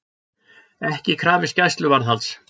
Ekki krafist gæsluvarðhalds